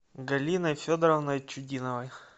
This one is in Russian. галиной федоровной чудиновой